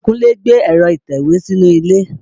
Kúnlé gbé ẹ̀rọ́ atẹ̀wé sínú ilé